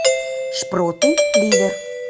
шпроты ливер